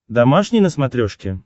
домашний на смотрешке